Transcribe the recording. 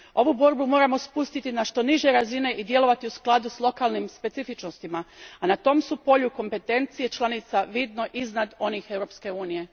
Ovu borbu moramo spustiti na što niže razine i djelovati u skladu s lokalnim specifičnostima, a na tom su polju kompetencije članica vidno iznad onih Europske unije.